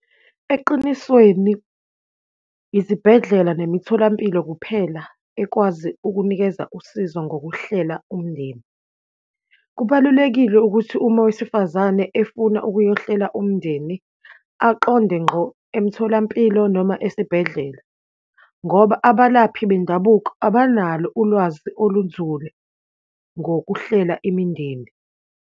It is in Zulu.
Eqinisweni izibhedlela nemitholampilo kuphela ekwazi ukunikeza usizo ngokuhlela umndeni. Kubalulekile ukuthi uma owesifazane efuna ukuyohlela umndeni, aqonde ngqo emtholampilo noma esibhedlela. Ngoba abalaphi bendabuko abanalo ulwazi olunzulu ngokuhlela imindeni.